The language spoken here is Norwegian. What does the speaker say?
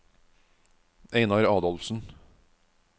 Einar Adolfsen